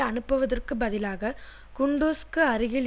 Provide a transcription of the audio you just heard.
அனுப்புவதற்கு பதிலாக குண்டுஸுக்கு அருகில்